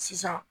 Sisan